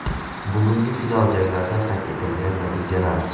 Bugungi final janglarda qayd etilgan natijalar: !